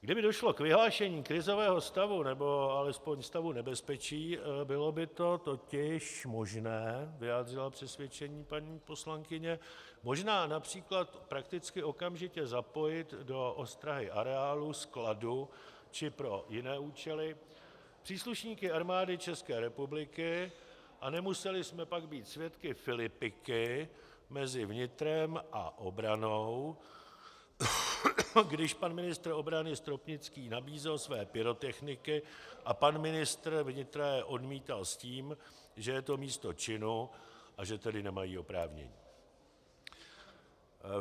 Kdyby došlo k vyhlášení krizového stavu nebo alespoň stavu nebezpečí, bylo by to totiž možné, vyjádřila přesvědčení paní poslankyně, možná například prakticky okamžitě zapojit do ostrahy areálu skladu či pro jiné účely příslušníky Armády České republiky a nemuseli jsme pak být svědky filipiky mezi vnitrem a obranou, když pan ministr obrany Stropnický nabízel své pyrotechniky a pan ministr vnitra je odmítal s tím, že je to místo činu, a že tedy nemají oprávnění.